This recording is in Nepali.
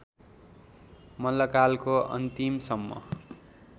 मल्लकालको अन्तिमसम्म